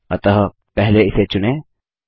अतः पहले इसे चुनें